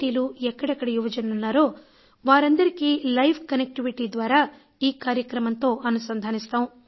టీలు ఎక్కడెక్కడ యువజనులు వున్నారో వారందరికీ లైవ్ కనెక్టివిటీ ద్వారా ఈ కార్యక్రమంతో అనుసంధానిస్తాం